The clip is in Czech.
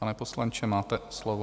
Pane poslanče, máte slovo.